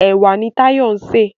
Ẹ̀wà ni Táyọ̀ ń sè.